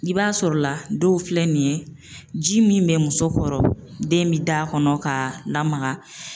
I b'a sɔrɔ la dɔw filɛ nin ye ji min be muso kɔrɔ den bi d'a kɔnɔ k'a lamaga